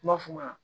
Kuma f'u ɲɛna